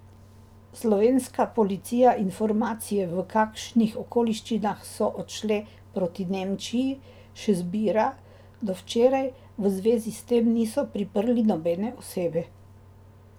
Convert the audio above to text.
Slovenska policija informacije, v kakšnih okoliščinah so odšle proti Nemčiji, še zbira, do včeraj v zvezi s tem niso priprli nobene osebe.